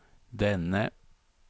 denne